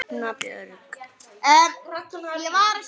Ragna Björg.